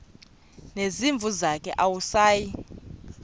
nezimvu zakhe awusayi